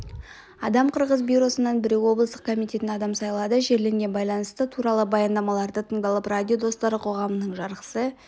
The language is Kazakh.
адам қырғыз бюросынан біреу облыстық комитетінен адам сайланды жерлермен байланысы туралы баяндамалары тыңдалып радио достары қоғамының жарғысы